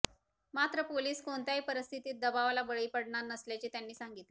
मात्र पोलीस कोणत्याही परिस्थितीत दबावाला बळी पडणार नसल्याचे त्यांनी सांगितले